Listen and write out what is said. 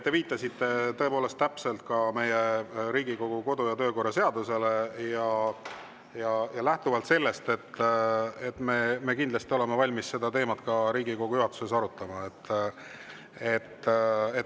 Te viitasite tõepoolest täpselt Riigikogu kodu‑ ja töökorra seadusele ja lähtuvalt sellest me kindlasti oleme valmis seda teemat Riigikogu juhatuses arutama.